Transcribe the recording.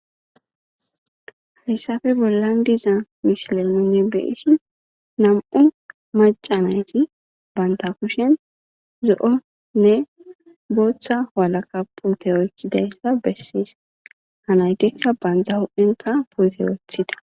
Hayssafe bollan diza misileminne beyishin nam'u maca nayti banta kushen zo'onne booththa walaka pute oykkidayssa bessees haa naytikka banta huphphenka puute wooththida